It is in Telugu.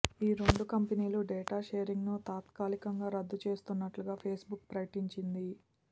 ఈ రెండు కంపెనీలు డేటా షేరింగ్ ను తాత్కాలికంగా రద్దుచేస్తున్నట్టుగా ఫేస్ బుక్ ప్రకటించింది